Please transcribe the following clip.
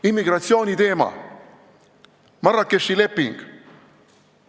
Immigratsiooniteema, Marrakechi leping.